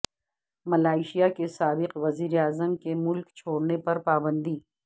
Malaysia کے سابق وزیر اعظم کے ملک چھوڑنے پر پابندی